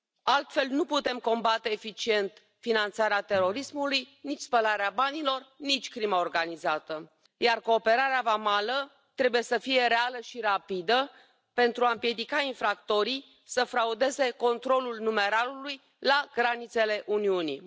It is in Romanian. Altfel, nu putem combate eficient finanțarea terorismului, nici spălarea banilor, nici crima organizată, iar cooperarea vamală trebuie să fie reală și rapidă, pentru a împiedica infractorii să fraudeze controlul numerarului la granițele Uniunii.